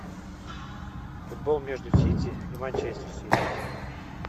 футбол между сити и манчестер сити